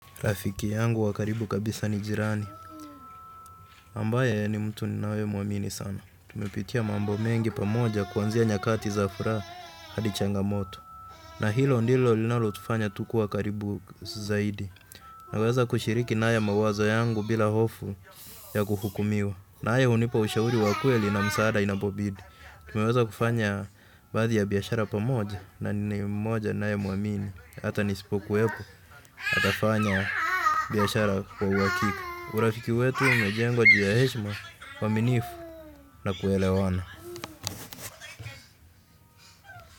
Rafiki yangu wa karibu kabisa ni jirani ambaye ni mtu ninayemuamini sana. Tumepitia mambo mengi pamoja kuanzia nyakati za furaha hadi changamoto. Na hilo ndilo linalotufanya tu kuwa karibu zaidi. Naweza kushiriki naye mawazo yangu bila hofu ya kuhukumiwa. Na haya hunipa ushahuri wa kweli na msaada inapobidi. Tumeweza kufanya baadhi ya biashara pamoja na ni mmoja ninayemuamini. Hata nisipokuwepo, atafanya biashara kwa uhakika. Urafiki wetu umejengwa juu ya heshima uaminifu na kuelewana.